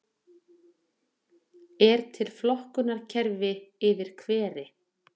er til flokkunarkerfi yfir hveri